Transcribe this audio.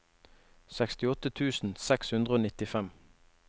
sekstiåtte tusen seks hundre og nittifem